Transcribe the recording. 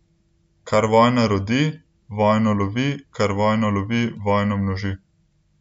Kar vojna rodi, vojno lovi, kar vojna lovi, vojno množi.